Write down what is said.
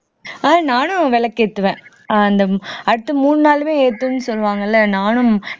நானும் விளக்கேத்துவேன் அந்த அடுத்து மூணு நாளுமே ஏத்துன்னு சொல்லுவாங்கல்ல நானும்